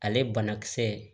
Ale banakisɛ